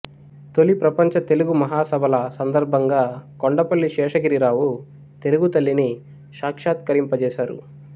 తొలి ప్రపంచ తెలుగు మహాసభల సందర్భంగా కొండపల్లి శేషగిరిరావు తెలుగు తల్లిని సాక్షాత్కరింపజేశారు